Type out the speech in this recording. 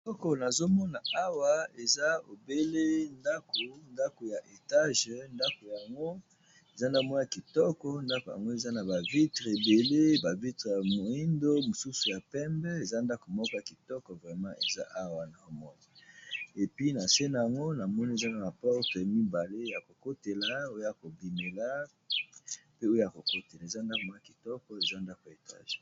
Eloko nazomona awa eza obele ndako ndako ya etage ndako yango eza na mwa kitoko ndako yango eza na ba vitre ebele ba vitre ya moyindo mosusu ya pembe eza ndako moko ya kitoko vraiment eza awa na omona epuis na se na yango namoni eza na porte mibale ya kokotela oyo kobimela pe oyo kokotela eza kitoko eza ndako ya etage.